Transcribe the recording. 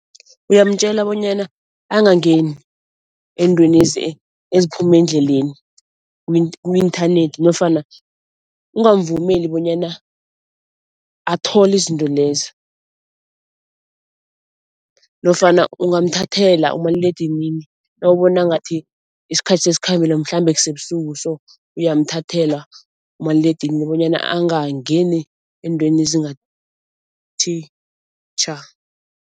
Uyamtjela bonyana angangeni eentweni eziphuma endleleni ku-inthanethi nofana ungamvumeli bonyana athole izinto lezi nofana ungamthathela umaliledinini nawubona ngathi isikhathi sesikhambile mhlambe kusebusuku so, uyamthathela umaliledinini bonyana angangeni eentweni ezingathi tjha.